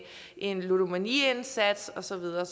en ludomaniindsats og så videre